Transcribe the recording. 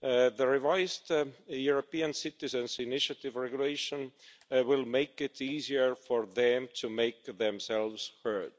The revised European Citizens' Initiative Regulation will make it easier for them to make to themselves heard.